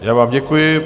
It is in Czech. Já vám děkuji.